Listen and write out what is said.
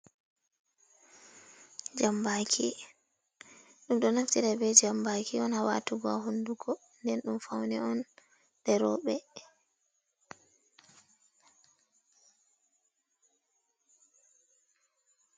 Jambaki ɗum ɗo naftire be jambaki on ha watugo ha hunduko, nden dum fauni on de roɓe.